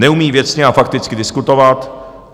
Neumí věcně a fakticky diskutovat.